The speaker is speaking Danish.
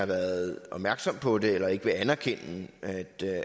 har været opmærksom på det eller ikke vil anerkende at